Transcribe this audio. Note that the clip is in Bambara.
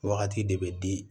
Wagati de bɛ di